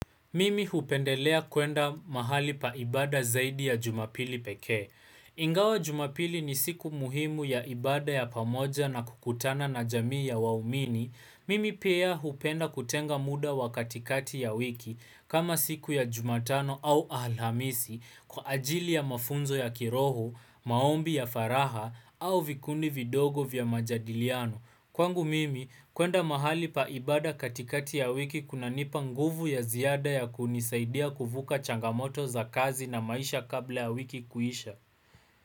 Mimi hupendelea kuenda mahali pa ibada zaidi ya jumapili pekee. Ingawa jumapili ni siku muhimu ya ibada ya pamoja na kukutana na jamii ya waumini. Mimi pia hupenda kutenga muda wa katikati ya wiki kama siku ya jumatano au alhamisi kwa ajili ya mafunzo ya kiroho, maombi ya faraha au vikundi vidogo vya majadiliano. Kwangu mimi kuenda mahali pa ibada katikati ya wiki kunanipa nguvu ya ziada ya kunisaidia kuvuka changamoto za kazi na maisha kabla ya wiki kuisha.